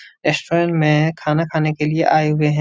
Restaurant में खाना खाने के लिए आए हुए हैं।